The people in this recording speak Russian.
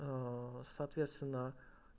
соответственно